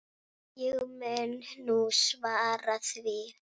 Ég mun nú svara því.